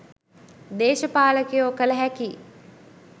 දේශපාලකයෝ කල හැකි